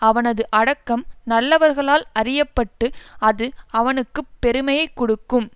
அவனது அடக்கம் நல்லவர்களால் அறிய பட்டு அது அவனுக்கு பெருமையை கொடுக்கும்